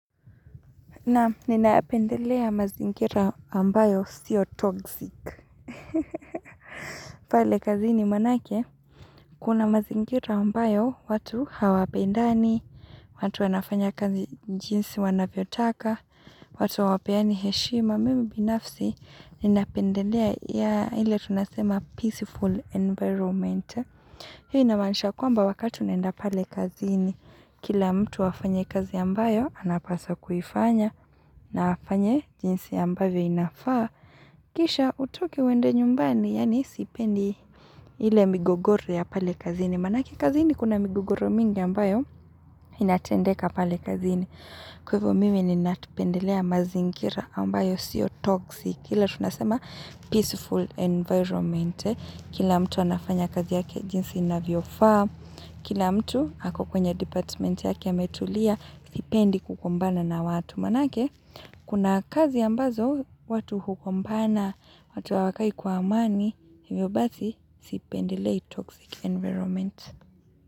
Na, ninapendelea mazingira ambayo sio toxic. Pale kazini manake, Kuna mazingira ambayo watu hawapendani, watu wanafanya kazi jinsi wanavyotaka, watu hawapeani heshima, mimi binafsi, ninapendelea ya ile tunasema peaceful environment. Hiyo inamaanisha kwamba wakatu unaenda pale kazini, kila mtu afanye kazi ambayo, anapaswa kuifanya, na afanye jinsi ambavyo inafaa, kisha utoke uende nyumbani yani siipendi. Ile migogoro ya pale kazini manake kazini kuna migogoro mingi ambayo, inatendeka pale kazini. Kwahivyo mimi ninapendelea mazingira ambayo sio toxic ile tunasema peaceful environment Kila mtu anafanya kazi yake jinsi inavyofaa. Kila mtu ako kwenye department yake ametulia Sipendi kugombana na watu Kuma nake, kuna kazi ambazo, watu hugompana, watu wakai kwa amani, hivyo basi, sipendelei toxic environment.